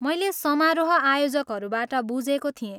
मैले समारोह आयोजकहरूबाट बुझेको थिएँ।